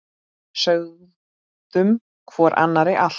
Sögðum hvor annarri allt.